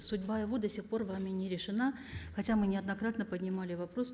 судьба его до сих пор вами не решена хотя мы неоднократно поднимали вопрос